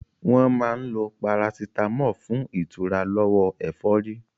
Wọ́n máa ń lo parasitámọ̀ fún ìtura lọ́wọ́ ẹ̀fọ́rí.